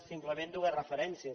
simplement dues referències